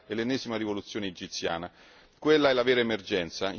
In Grecia dobbiamo solo accompagnare il governo a fare in fretta e fare bene.